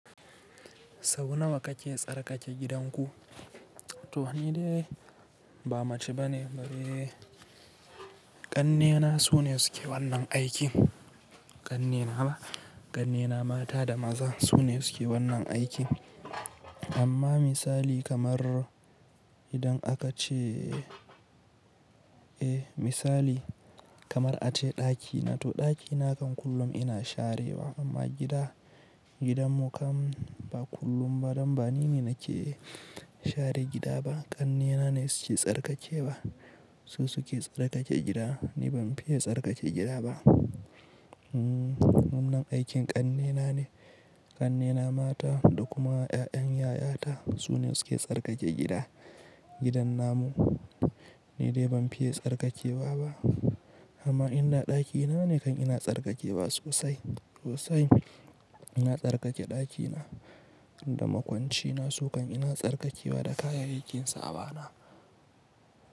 Sau nawa kake tsarkake gidanku? To ni dai ba mace bane. Eh, ƙannena su ne suke wannan aikin. Ƙannena ba, ƙannena mata da maza su ne suke wannan aikin. Amma misali kamar idan aka ce, eh misali kamar ace ɗakina to ɗakina kan kullum ina sharewa amma gida, gidanmu kan ba kullum ba don ba ni ne nake share gida ba. Ƙannena ne suke tsarkake ba su suke tsarkake gida. Ni ban fiye tsarkake gida ba. Hmm wannan aikin ƙannena ne. Ƙannena mata da kuma ƴaƴan yayata su ne suke tsarkake gida. Gidan namu ni dai ban fiye tsarkakewa ba amma inda ɗakina ne kan ina tsarkakewa sosai sosai. Ina tsarkake ɗakina da makwancina su kan ina tsarkakewa da kayayyakin sawana.